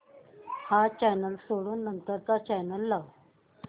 हा चॅनल सोडून नंतर चा चॅनल लाव